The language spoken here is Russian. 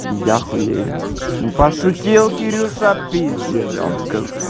яхуею пошутил кирюша п омск